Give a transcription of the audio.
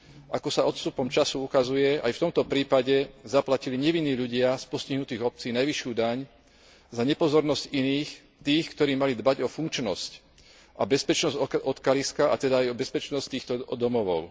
Ako sa s odstupom času ukazuje, aj v tomto prípade zaplatili nevinní ľudia z postihnutých obcí najvyššiu daň za nepozornosť iných, tých, ktorí mali dbať o funkčnosť a bezpečnosť odkaliska, a teda aj o bezpečnosť týchto domovov.